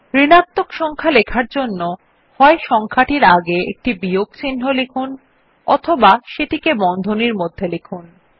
ঋণাত্মক সংখ্যা লেখার জন্য হয় সংখ্যার আগে একটি বিয়োগ চিন্হ লিখুন বা সেটিকে বন্ধনীর মধ্যে লিখুন